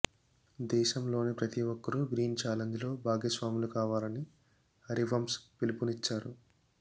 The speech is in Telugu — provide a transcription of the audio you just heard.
దేశంలోని ప్రతి ఒక్కరూ గ్రీన్ ఛాలెంజ్లో భాగస్వాములు కావాలని హరివంశ్ పిలుపునిచ్చారు